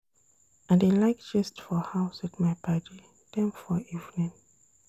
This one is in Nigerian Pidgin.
I dey like gist for house wit my paddy dem for evening.